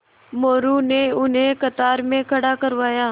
मोरू ने उन्हें कतार में खड़ा करवाया